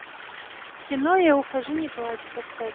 кино я ухожу не плачь поставь